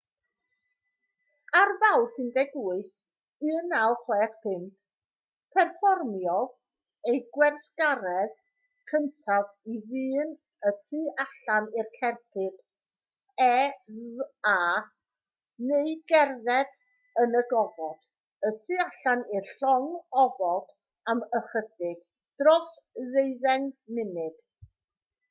ar fawrth 18 1965 perfformiodd e'r gweithgaredd cyntaf i ddyn y tu allan i'r cerbyd eva neu gerdded yn y gofod y tu allan i'r llong ofod am ychydig dros ddeuddeng munud